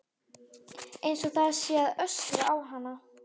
Einsog það sé að öskra á hana.